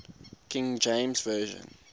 king james version